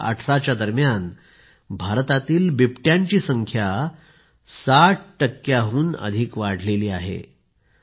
201418 दरम्यान भारतातील बिबट्यांची संख्या 60 टक्क्यांहून अधिक वाढली आहे